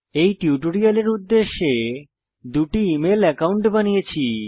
এই টিউটোরিয়ালের উদ্দেশ্যে দুটি ইমেল একাউন্ট বানিয়েছি